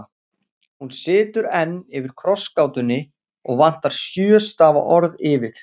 Hún situr enn yfir krossgátunni og vantar sjö stafa orð yfir